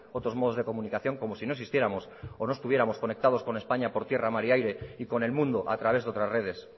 otros modos de comunicación como si no existiéramos o no estuviéramos conectados con españa por tierra mar y aire y con el mundo a través de otras redes